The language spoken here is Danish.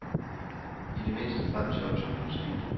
I det mindste frem til årtusindskiftet.